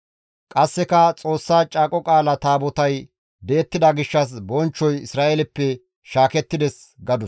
Qasseka, «Xoossa Caaqo Qaala Taabotay di7ettida gishshas bonchchoy Isra7eeleppe shaakettides» gadus.